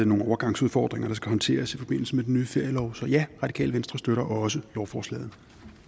nogle overgangsudfordringer der skal håndteres i forbindelse med den nye ferielov så ja radikale venstre støtter også lovforslaget